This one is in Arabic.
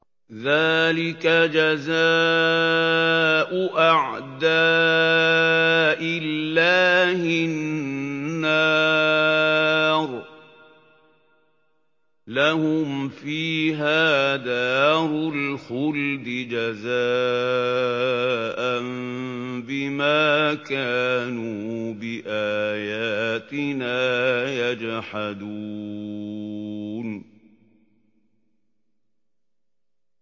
ذَٰلِكَ جَزَاءُ أَعْدَاءِ اللَّهِ النَّارُ ۖ لَهُمْ فِيهَا دَارُ الْخُلْدِ ۖ جَزَاءً بِمَا كَانُوا بِآيَاتِنَا يَجْحَدُونَ